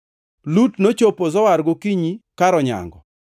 Lut nochopo Zoar gokinyi kar onyango.